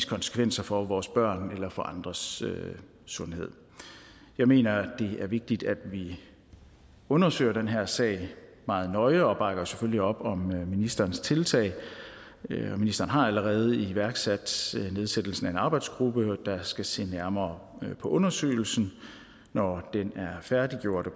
konsekvenser for vores børns eller andres sundhed jeg mener at det er vigtigt at vi undersøger den her sag meget nøje og bakker selvfølgelig op om ministerens tiltag ministeren har allerede iværksat nedsættelsen af en arbejdsgruppe der skal se nærmere på undersøgelsen når den er færdiggjort og